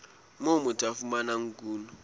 moo motho a fumanang kuno